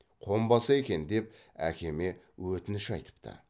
қонбаса екен деп әкеме өтініш айтыпты